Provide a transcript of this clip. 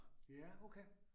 Ja okay